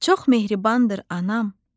Çox mehribandır anam.